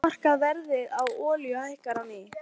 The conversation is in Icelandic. Heimsmarkaðsverð á olíu hækkar á ný